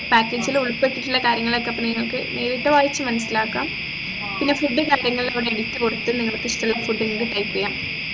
packages ലുൾപ്പെട്ടിട്ടുള്ള കാര്യങ്ങളൊക്കെ അപ്പൊ നിങ്ങക്ക് നേരിട്ട് വായിച്ചു മനസിലാക്കാം പിന്നെ food ഉ കാര്യങ്ങളൊക്കെ list കൊടുത്ത് നിങ്ങൾക്ക് ഇഷ്ടുള്ള food നിങ്ങക്ക് try ചെയ്യാം